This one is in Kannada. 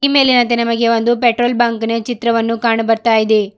ಹಿಮ್ಮೇಲೆ ಅದರ ಬಗ್ಗೆ ಒಂದು ಪೆಟ್ರೋಲ್ ಬಂಕ್ ನ ಚಿತ್ರವನ್ನು ಕಾಣು ಬರ್ತಾ ಇದೆ.